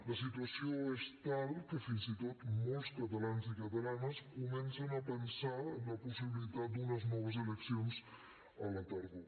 la situació és tal que fins i tot molts catalans i catalanes comencen a pensar en la possibilitat d’unes noves eleccions a la tardor